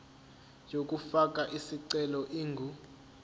yokufaka isicelo ingu